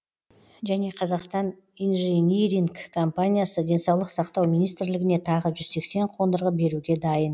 және қазақстан инжиниринг компаниясы денсаулық сақтау министрлігіне тағы жүз сексен қондырғы беруге дайын